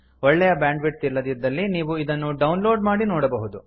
ಒಳ್ಳೆಯ bandwidth ಇಲ್ಲದಿದ್ದಲ್ಲಿ ನೀವು ಇದನ್ನು ಡೌನ್ ಲೋಡ್ ಮಾಡಿ ನೋಡಬಹುದು